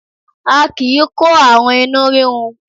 A kì í kó àrùn inú rírun